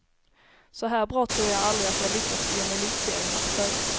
Så här bra tror jag aldrig att jag lyckats i en elitseriematch förut.